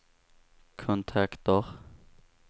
kontakter